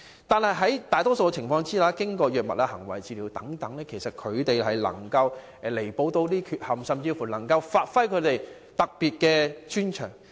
但是，在大多數情況下，他們能夠透過藥物和行為治療彌補這些缺陷，甚至發揮他們特有的專長。